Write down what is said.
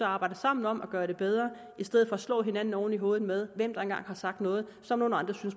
arbejder sammen om at gøre det bedre i stedet for at slå hinanden oven i hovedet med hvem der en gang har sagt noget som nogle andre